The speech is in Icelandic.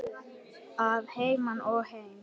Að heiman og heim.